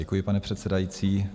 Děkuji, pane předsedající.